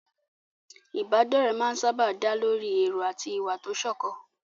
Ìbádọ́rẹ̀ẹ́ máa ń sáábà dá lórí èrò àti ìwà tó sọ̀kan.